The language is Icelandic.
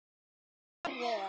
Far vel.